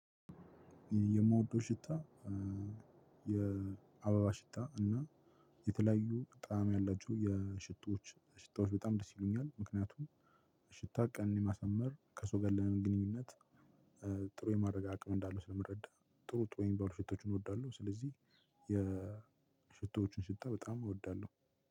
የምወደው ሽታ የአበባ ሽታ እና የተለያዩ ጣአም ያላችሁ የሽቶች ሽታወች በጣም ደስ ይለኛል። ምክንያቱም ሽታ ቀን የማሰመር ከሰዉጋ ያለውን ግንኙነት። ጥሩ የማድረግ አቅም እንዳለው ስለምረዳ ጥሩ ጥሩ የሚባሉ ሽቶችን እወዳለሁ። ስለዚህ የሽቶዎችን ሽታ በጣም እወዳለሁ።